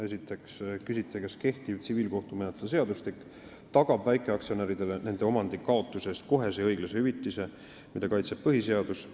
Esiteks te küsite, kas kehtiv tsiviilkohtumenetluse seadustik tagab väikeaktsionäridele nende omandi kaotuse eest kohese ja õiglase hüvitise, mida kaitseb põhiseadus.